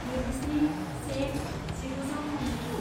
नैजिस्नि से जिगुजौथामजिगु